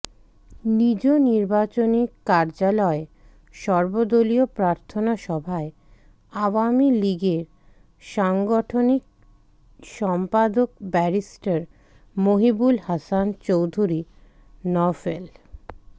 নিজ নির্বাচনী কার্যালয়ে সর্বদলীয় প্রার্থনা সভায় আওয়ামী লীগের সাংগঠনিক সম্পাদক ব্যারিস্টার মহিবুল হাসান চৌধুরী নওফেল